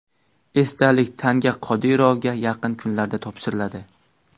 Esdalik tanga Qodirovga yaqin kunlarda topshiriladi.